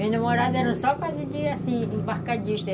namorada era só quase de, assim, embarcadista.